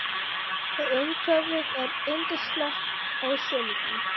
Og umhverfið er yndislegt á sumrin.